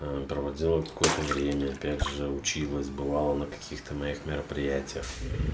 проводила какое-то время опять же училась бывало на каких-то моих мероприятиях